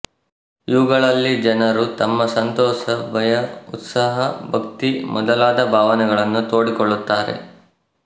ಇವುಗಳಲ್ಲಿ ಜನರು ತಮ್ಮ ಸಂತೋಷ ಭಯ ಉತ್ಸಾಹ ಭಕ್ತಿ ಮೊದಲಾದ ಭಾವನೆಗಳನ್ನು ತೋಡಿಕೊಳ್ಳುತ್ತಾರೆ